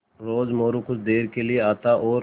रोज़ मोरू कुछ देर के लिये आता और